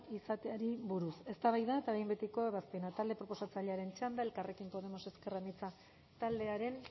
izateari buruz eztabaida eta behin betiko ebazpena talde proposatzailearen txanda elkarrekin podemos ezker anitza taldearen